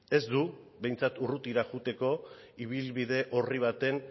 ez du behintzat urrutira joateko ibilbide horri baten